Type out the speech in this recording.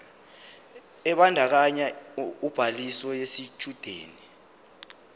ebandakanya ubhaliso yesitshudeni